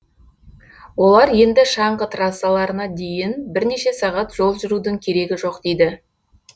олар енді шаңғы трассаларына дейін бірнеше сағат жол жүрудің керегі жоқ дейді